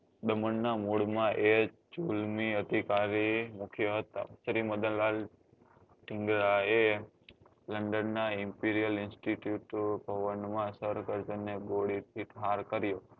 દમણ ના મોડ એ જુલ્મી અધકારી હતા મુખ્ય હતા શ્રી મદનલાલ પિંગલા એ london નાં imperial institute of માં ગોળી ઠાર કર્યો